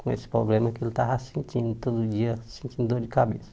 Com esse problema que ele estava sentindo todo dia, sentindo dor de cabeça.